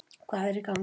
Hvað er í gangi?